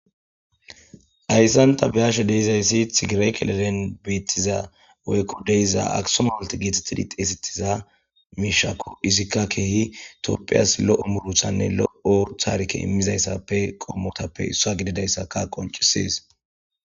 ayssanta biyashe deizayssi tigirek leden beettiza woykko deyiza akisomawalti geethettidi xeesitiza miishako izikka keehi topphiyas lo7o muruthanne lo7orthaarke immizayssappe qomotappe issa gididayssaka qoncisis.